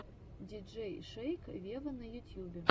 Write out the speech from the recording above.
диджей шейк вево на ютьюбе